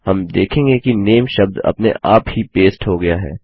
हम देखेंगे कि नामे शब्द अपने आप ही पेस्ट हो गया है